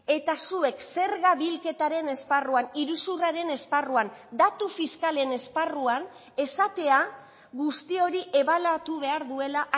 eta zuek zerga bilketaren esparruan iruzurraren esparruan datu fiskalen esparruan esatea guzti hori ebaluatu behar duela